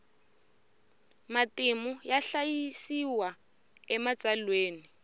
matimu ya hlayisiwa ematsalweni